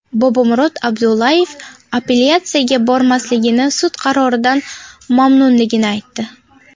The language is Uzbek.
Bobomurod Abdullayev apellyatsiyaga bermasligini, sud qaroridan mamnunligini aytdi.